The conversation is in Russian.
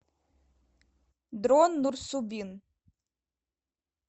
дрон нурсубин